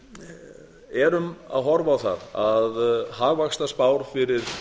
við erum að horfa á það að hagvaxtarspár fyrir